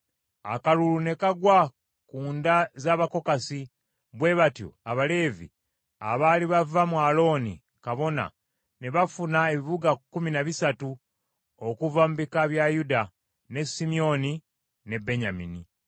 Akalulu ne kagwa ku nda ez’Abakokasi. Bwe batyo Abaleevi abaali bava mu Alooni kabona ne bafuna ebibuga kkumi na bisatu okuva mu bika bya Yuda, ne Simyoni ne Benyamini.